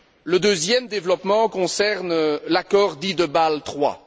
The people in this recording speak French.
Le deuxième développement concerne l'accord dit de Bâle III.